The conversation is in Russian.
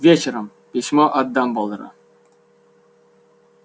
вечером письмо от дамблдора